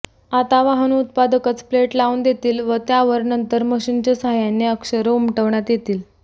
आता वाहन उत्पादकच प्लेट लावून देतील त्यावर नंतर मशीनच्या साहाय्याने अक्षरं उमटवण्यात येतील